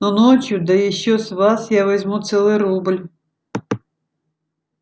но ночью да ещё с вас я возьму целый рубль